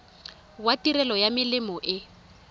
wa tirelo ya melemo e